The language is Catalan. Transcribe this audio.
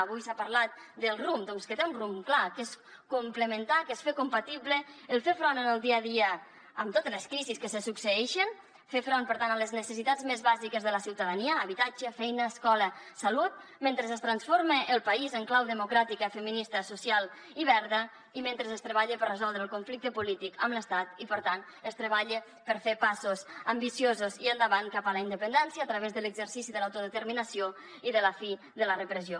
avui s’ha parlat del rumb doncs que té un rumb clar que és complementar que és fer compatible el fer front en el dia a dia amb totes les crisis que se succeeixen fer front per tant a les necessitats més bàsiques de la ciutadania habitatge feina escola salut mentre es transforma el país en clau democràtica feminista social i verda i mentre es treballa per resoldre el conflicte polític amb l’estat i per tant es treballa per fer passos ambiciosos i endavant cap a la independència a través de l’exercici de l’autodeterminació i de la fi de la repressió